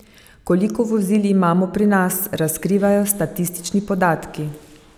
Koliko vozil imamo pri nas, razkrivajo statistični podatki.